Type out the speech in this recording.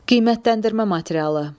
Qiymətləndirmə materialı.